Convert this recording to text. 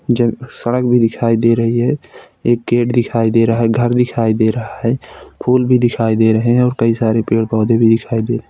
जब सड़क भी दिखाई दे रही है एक गेट दिखाई दे रहा है। घर दिखाई दे रहा है फूल भी दिखाई दे रहे हैं। कई सारे पेड़ पौधे भी दिखाई दे रहे हैं।